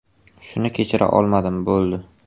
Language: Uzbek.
Shuni kechira olmadim, bo‘ldi.